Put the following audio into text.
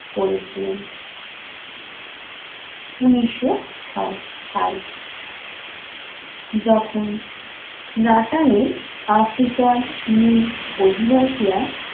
করেছিলেন। উনিশশো ছয় সাল যখন নাটালের africa র মূল অধিবাসীরা